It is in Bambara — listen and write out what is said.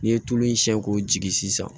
N'i ye tulu in siɲɛ k'o jigi sisan